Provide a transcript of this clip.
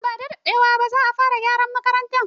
Nan bada daɗewa ba za a fara gyaran makaranta.